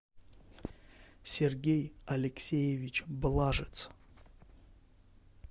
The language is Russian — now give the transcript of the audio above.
сергей алексеевич блажец